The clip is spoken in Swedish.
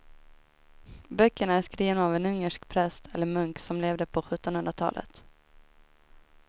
Böckerna är skrivna av en ungersk präst eller munk som levde på sjuttonhundratalet.